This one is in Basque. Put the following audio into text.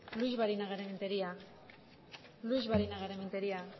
luix barinagarrementeria luix barinagarrementeria